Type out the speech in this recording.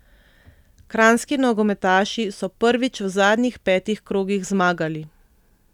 Kranjski nogometaši so prvič v zadnjih petih krogih zmagali.